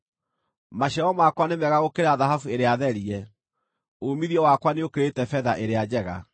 Maciaro makwa nĩ mega gũkĩra thahabu ĩrĩa therie; uumithio wakwa nĩũkĩrĩte betha ĩrĩa njega.